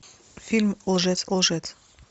фильм лжец лжец